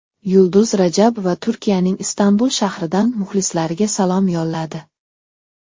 Yulduz Rajabova Turkiyaning Istanbul shahridan muxlislariga salom yo‘lladi.